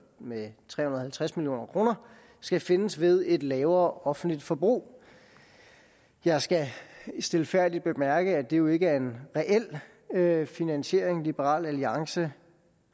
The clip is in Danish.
med tre hundrede og halvtreds million kr skal findes ved et lavere offentligt forbrug jeg skal stilfærdigt bemærke at det jo ikke er en reel finansiering liberal alliance